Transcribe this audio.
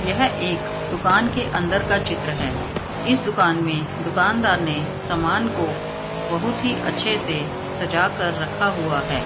यह एक दुकान का अंदर का चित्र है इस दुकान में दुकानदार ने सामान को बहुत ही अच्छे से सजाकर रखा हुआ है ।